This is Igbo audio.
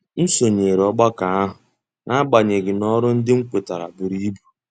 M sonyere ọgbakọ ahụ nagbanyeghị na ọrụ ndị m kwetara buru ibu.